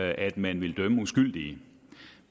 at man ville dømme uskyldige